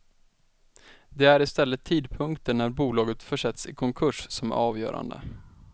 Det är istället tidpunkten när bolaget försätts i konkurs som är avgörande.